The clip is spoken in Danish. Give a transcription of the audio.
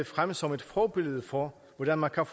frem som et forbillede for hvordan man kan